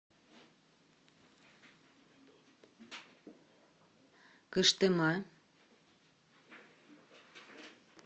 кыштыма